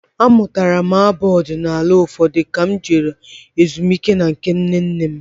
Amụtara m abụ ọdinala ụfọdụ ka m jere ezumike na nke nna nne m.